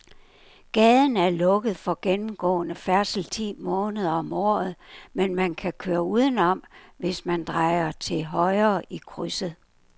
Gaden er lukket for gennemgående færdsel ti måneder om året, men man kan køre udenom, hvis man drejer til højre i krydset.